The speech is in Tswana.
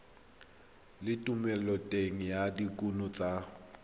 le thomeloteng ya dikuno tsa